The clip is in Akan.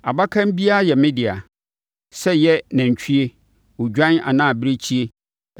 “Abakan biara yɛ me dea, sɛ ɛyɛ nantwie, odwan anaa abirekyie.